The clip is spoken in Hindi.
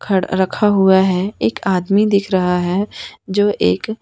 खड़ रखा हुआ है एक आदमी दिख रहा है जो एक--